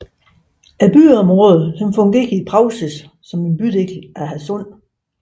Byområdet fungerer i praksis som en bydel til Hadsund